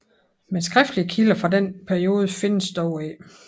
Men skriftlige kilder fra denne periode findes dog ikke